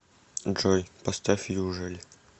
джой поставь южель